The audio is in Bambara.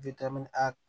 a